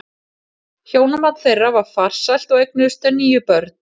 Hjónaband þeirra var farsælt og eignuðust þau níu börn.